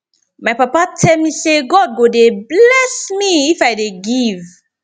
my papa tell me say god go dey bless me if i dey give